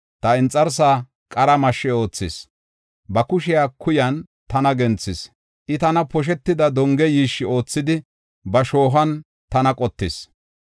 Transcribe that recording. Ta inxarsaa qara mashshi oothis; ba kushiya kuyan tana genthis. I tana poshetida donge yiishshi oothidi ba shoohuwan tana qottis.